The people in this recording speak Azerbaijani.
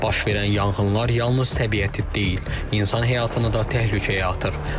Baş verən yanğınlar yalnız təbiəti deyil, insan həyatını da təhlükəyə atır.